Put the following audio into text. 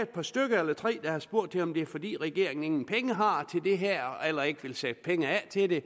par stykker eller tre der har spurgt til om det er fordi regeringen ingen penge har til det her eller ikke vil sætte penge af til det